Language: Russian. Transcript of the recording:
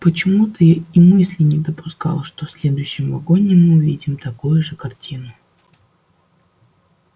почему-то я и мысли не допускал что в следующем вагоне мы увидим такую же картину